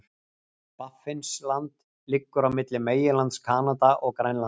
Baffinsland liggur á milli meginlands Kanada og Grænlands.